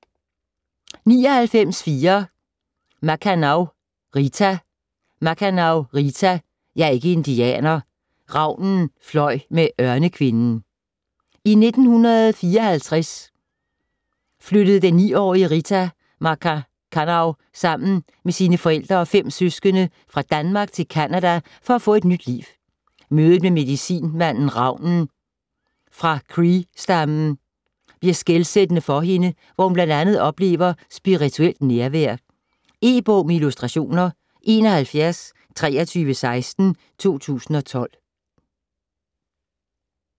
99.4 Makkannaw, Rita Makkannaw, Rita: Jeg er ikke indianer: Ravnen fløj med Ørnekvinden I 1954 flyttede den 9-årige Rita Makkanaw sammen med sine forældre og 5 søskende fra Danmark til Canada for at få et nyt liv. Mødet med medicinmanden Raven fra Cree-stammen bliver skelsættende for hende, hvor hun bl.a. oplever spirituelt nærvær. E-bog med illustrationer 712316 2012.